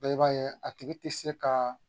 i b'a ye a tigi ti se kaa